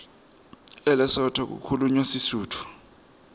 elesotho kukhulunywa sisutfu